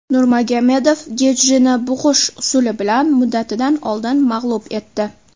Nurmagomedov Getjini bug‘ish usuli bilan muddatidan oldin mag‘lub etdi.